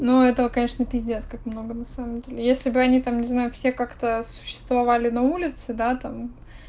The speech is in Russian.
ну это конечно пиздец как много на самом деле если бы они там не знаю все как-то существовали на улице да там